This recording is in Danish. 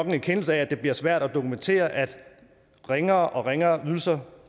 en erkendelse af at det bliver svært at dokumentere at ringere og ringere ydelser